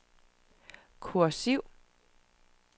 kursiv